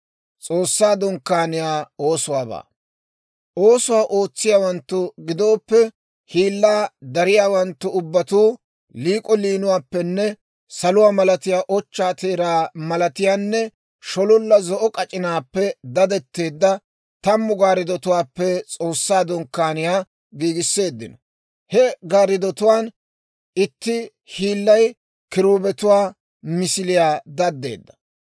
Oosuwaa ootsiyaawanttu giddoppe hiillaa dariyaawanttu ubbatuu liik'o liinuwaappenne saluwaa malatiyaa, ochchaa teeraa malatiyaanne shololla zo'o k'ac'inaappe dadetteedda tammu gaarddutuwaappe S'oossaa Dunkkaaniyaa giigisseeddino. He gariddotuwaan itti hiillay kiruubetuwaa misiliyaa daddeedda.